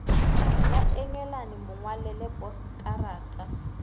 la engelane mo ngwalele poskarata